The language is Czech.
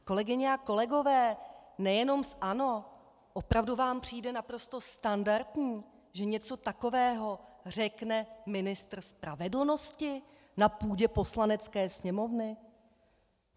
Kolegyně a kolegové nejenom z ANO, opravdu vám přijde naprosto standardní, že něco takového řekne ministr spravedlnosti na půdě Poslanecké sněmovny?